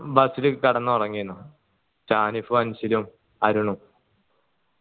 bus ൽ കിടന്ന് ഉറങ്ങേന് ഷാനിഫ് അൻസലും അരുണും